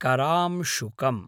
करांशुकम्